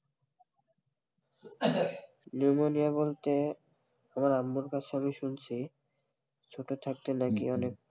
pneumonia বলতে আমার আম্মুর কাছে শুনছি ছোটো থাকতে অনেক,